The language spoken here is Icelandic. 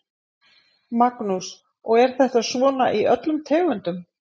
Magnús: Og er þetta svona í öllum tegundum?